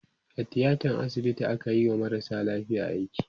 a tiatan asibiti akayi wa marasa lafiya aiki